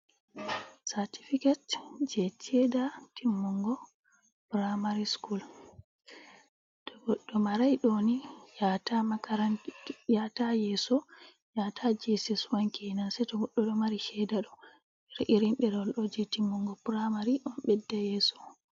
Satifiket jei sheda timmungo praimari skul. To goɗɗo marai ɗoni yahata yeso. Yata je es es wan kenan sei to goɗɗo ɗo mari sheda ɗo. Irin ɗerowol ɗo jei timmungo praimari on ɓedda yeso.